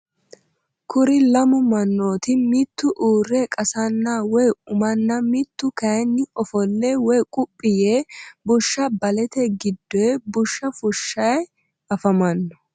kuri lamu manooti mitu uure qasanna woye umanna mitu kayiini ofolle woye quphi yee bushsha balete giddoyi bushsha fushshayi afamanno.